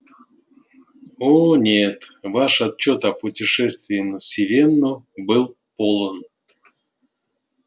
о нет ваш отчёт о путешествии на сивенну был полон